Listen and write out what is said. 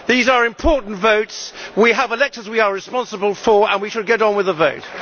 These are important votes, we have electors we are responsible for, and we should get on with the vote.